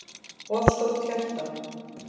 of stórt hjarta